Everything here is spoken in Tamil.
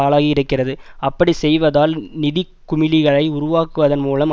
ஆளாகி இருக்கிறது அப்படிச்செய்வதால் நிதி குமிழியை உருவாக்குவதன் மூலம்